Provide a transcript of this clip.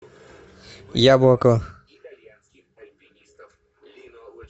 яблоко